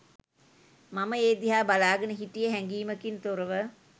මම ඒ දිහා බලාගෙන හිටියේ හැඟීමකින් තොරව